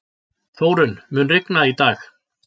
Þórunn, mun rigna í dag?